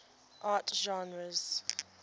art genres